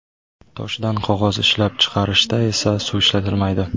Toshdan qog‘oz ishlab chiqarishda esa suv ishlatilmaydi.